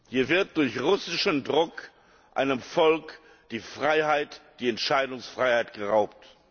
Hier wird durch russischen Druck einem Volk die Freiheit, die Entscheidungsfreiheit geraubt.